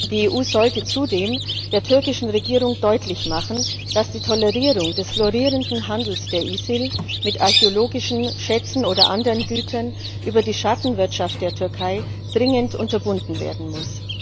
Die EU sollte zudem der türkischen Regierung deutlich machen, dass die Tolerierung des florierenden Handels der ISIL mit archäologischen Schätzen oder anderen Gütern über die Schattenwirtschaft der Türkei dringend unterbunden werden muss.